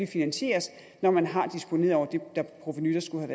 finansieres når man har disponeret over det provenu der skulle